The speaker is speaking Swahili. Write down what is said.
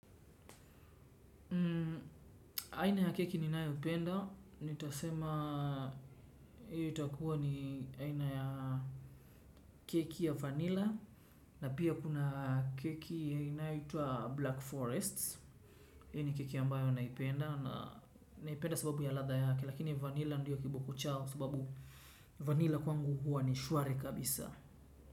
Aina ya keki ni nayopenda, nitasema hii itakuwa ni aina ya keki ya vanilla. Na pia kuna keki ya inaitwa black forest. Hii ni keki ambayo naipenda, naipenda sababu ya latha yake. Lakini vanilla ndiyo kiboko chao sababu vanilla kwangu huwa ni shuari kabisa.